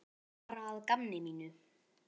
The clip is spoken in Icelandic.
Bara að gamni mínu.